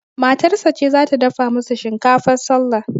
Matarsa ce zata dafa musu shinkafar sallah